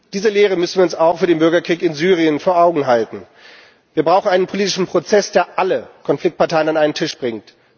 Diese Lehre müssen wir uns auch für den Bürgerkrieg in Syrien vor Augen halten. Wir brauchen einen politischen Prozess, der alle Konfliktparteien an einen Tisch bringt.